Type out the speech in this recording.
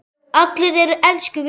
Allir eru elsku vinir.